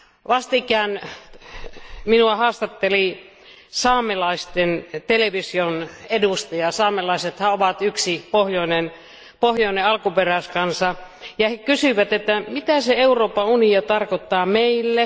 Vastikään minua haastatteli saamelaisten television edustaja saamelaisethan ovat yksi pohjoinen alkuperäiskansa ja he kysyivät, että mitä se Euroopan unioni tarkoittaa meille?